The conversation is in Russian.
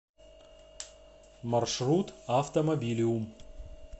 маршрут автомобилиум